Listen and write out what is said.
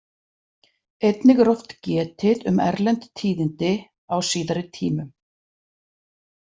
Einnig er oft getið um erlend tíðindi á síðari tímum.